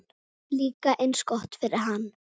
Líka eins gott fyrir hann.